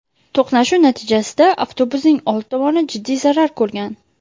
To‘qnashuv natijasida avtobusning old tomoni jiddiy zarar ko‘rgan.